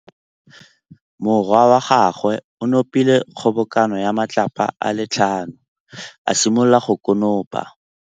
Morwa wa gagwe o nopile kgobokanô ya matlapa a le tlhano, a simolola go konopa.